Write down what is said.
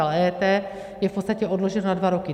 Ale EET je v podstatě odloženo na dva roky.